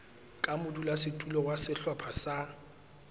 ka modulasetulo wa sehlopha sa